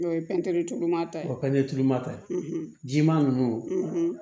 N'o ye pɛntiri mata ye o pɛnɛnturuma ta ye jiman ninnu